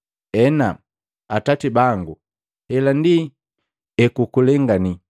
Ena, Atati bangu, hela ndi ekukukulengani.